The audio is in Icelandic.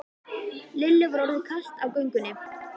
Lillu var orðið kalt á göngunni.